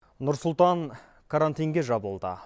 нұр сұлтан карантинге жабылды